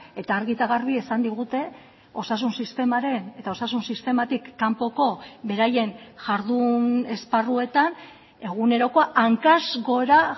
eta argi eta garbi esan digute osasun sistemaren eta osasun sistematik kanpoko beraien jardun esparruetan egunerokoa hankaz gora